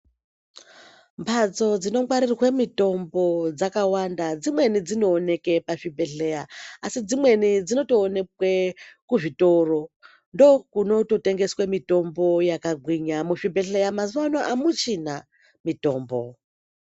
Mbatso dzinongwarirwa mitombo dzakawanda dzimweni dzinonekwa pazvibhedhlera asi dzimweni dzinotooneke kuzvitoro ndokunoto tengeswa mitombo yakagwinya muzvibhedhlera mazuwa anaya pamuchina mutombo.